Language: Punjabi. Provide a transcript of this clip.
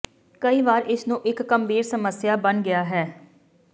ਕਈ ਵਾਰ ਇਸ ਨੂੰ ਇੱਕ ਗੰਭੀਰ ਸਮੱਸਿਆ ਬਣ ਗਿਆ ਹੈ